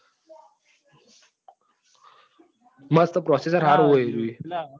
મસ્ત processor સારું છે